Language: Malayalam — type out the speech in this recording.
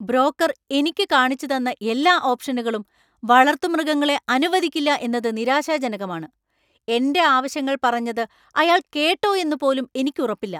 ബ്രോക്കർ എനിക്ക് കാണിച്ചുതന്ന എല്ലാ ഓപ്ഷനുകളും വളർത്തുമൃഗങ്ങളെ അനുവദിക്കില്ല എന്നത് നിരാശാജനകമാണ്. എന്‍റെ ആവശ്യങ്ങൾ പറഞ്ഞത് അയാൾ കേട്ടോ എന്ന് പോലും എനിക്ക് ഉറപ്പില്ല.